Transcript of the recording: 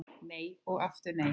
Nei og aftur nei